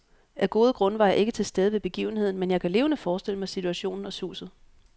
Af gode grunde var jeg ikke til stede ved begivenheden, men jeg kan levende forestille mig situationen og suset.